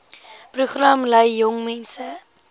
program lei jongmense